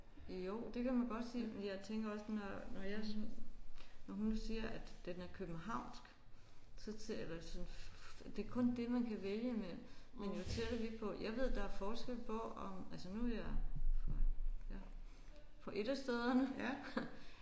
Jo det kan man godt sige men jeg tænker også når når jeg sådan når hun siger at den er københavnsk så eller så det er kun det man kan vælge imellem. Men jeg tænker lige på jeg ved der er forskel på om altså nu er jeg fra ja fra et af stederne